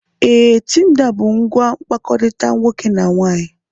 Ee, Tinda bụ ngwa mkpakọrịta nwoke na nwaanyị.